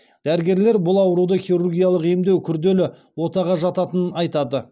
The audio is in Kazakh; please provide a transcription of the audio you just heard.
дәрігерлер бұл ауруды хирургиялық емдеу күрделі отаға жататынын айтты